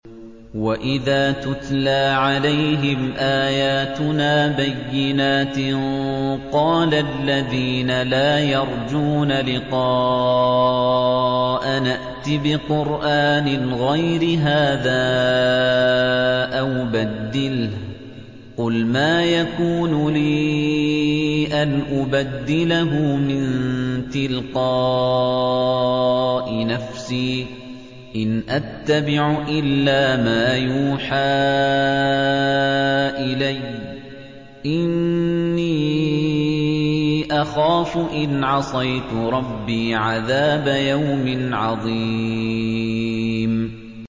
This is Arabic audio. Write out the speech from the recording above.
وَإِذَا تُتْلَىٰ عَلَيْهِمْ آيَاتُنَا بَيِّنَاتٍ ۙ قَالَ الَّذِينَ لَا يَرْجُونَ لِقَاءَنَا ائْتِ بِقُرْآنٍ غَيْرِ هَٰذَا أَوْ بَدِّلْهُ ۚ قُلْ مَا يَكُونُ لِي أَنْ أُبَدِّلَهُ مِن تِلْقَاءِ نَفْسِي ۖ إِنْ أَتَّبِعُ إِلَّا مَا يُوحَىٰ إِلَيَّ ۖ إِنِّي أَخَافُ إِنْ عَصَيْتُ رَبِّي عَذَابَ يَوْمٍ عَظِيمٍ